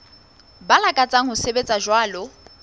ba lakatsang ho sebetsa jwalo